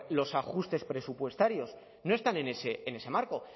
los ajustes presupuestarios no están en ese marco